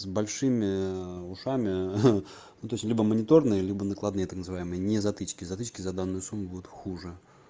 с большими ээ ушами ха ну то есть либо мониторные либо накладные так называемые не затычки затычки за данную сумму будут хуже